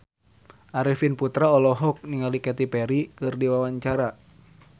Arifin Putra olohok ningali Katy Perry keur diwawancara